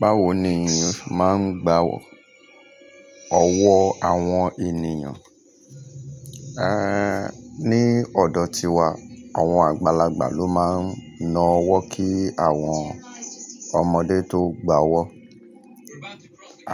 Báwo ni ènìyàn se máa ń gba ọ̀wọ́ àwọn ènìyàn, ní ọ̀dọ̀ tiwa àwọn àgbàlagbà ló máa ń na ọwọ́ kí àwọn ọmọdé tó gba ọwọ́.